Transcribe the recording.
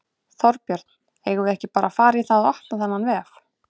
Þorbjörn: Eigum við ekki bara að fara í það að opna þennan vef?